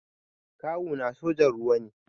Kawu na sojan ruwa ne